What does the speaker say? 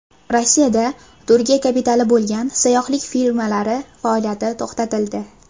Rossiyada Turkiya kapitali bo‘lgan sayyohlik firmalari faoliyati to‘xtatildi.